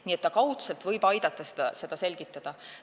Nii et kaudselt võib ta aidata seda selgitada.